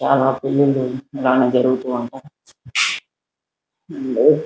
చాలా పెళ్ళిళ్ళు ఇలానె జరుగుతూ ఉంటాయి --